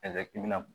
i bɛna